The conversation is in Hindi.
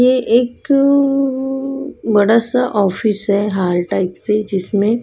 ये एकअ बड़ा सा ऑफिस है हाल टाइप से जिसमें--